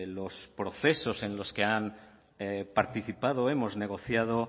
los procesos en los que han participado hemos negociado